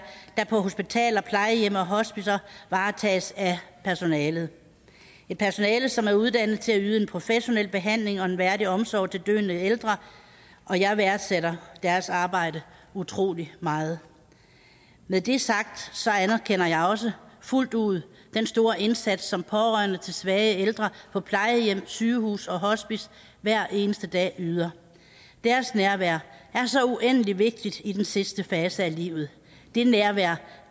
der på hospitaler plejehjem og hospicer varetages af personalet et personale som er uddannet til at yde en professionel behandling og en værdig omsorg til døende ældre og jeg værdsætter deres arbejde utrolig meget med det sagt anerkender jeg også fuldt ud den store indsats som pårørende til svage ældre på plejehjem sygehuse og hospicer hver eneste dag yder deres nærvær er så uendelig vigtigt i den sidste fase af livet det nærvær